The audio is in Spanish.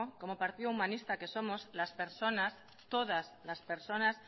como partido humanista que somos las personas todas las personas